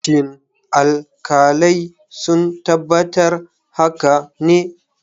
Shin alkalai sun tabbatar haka ne?